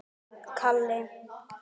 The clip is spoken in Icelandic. Gengur kannski í pilsi?